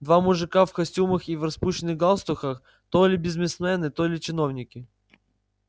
два мужика в костюмах и в распущенных галстуках то ли бизнесмены то ли чиновники